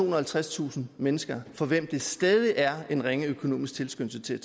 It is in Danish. og halvtredstusind mennesker for hvem der stadig er en ringe økonomisk tilskyndelse til at